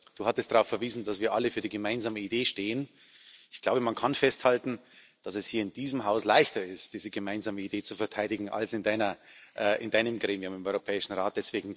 Du hattest darauf verwiesen, dass wir alle für die gemeinsame Idee stehen. Ich glaube, man kann festhalten, dass es hier in diesem Haus leichter ist, diese gemeinsame Idee zu verteidigen als in Deinem Gremium, im Europäischen Rat.